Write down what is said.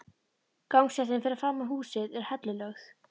Gangstéttin fyrir framan húsið er hellulögð.